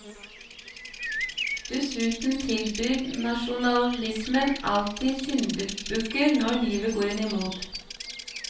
Dessuten tilbyr nasjonalismen alltid syndebukker når livet går en imot.